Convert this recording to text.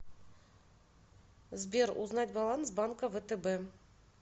сбер узнать баланс банка втб